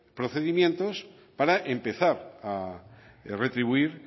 procedimientos para empezar a retribuir